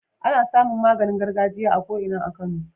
Ana samin maganin gargajiya a ko Ina a kano